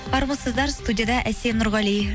армысыздар студияда әсем нұрғали